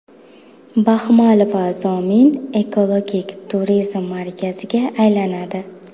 Baxmal va Zomin ekologik turizm markaziga aylanadi.